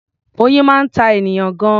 Oyin máa ń ta ènìyàn gan-an.